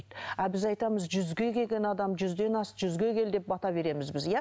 ал біз айтамыз жүзге келген адам жүзден ас жүзге кел деп бата береміз біз иә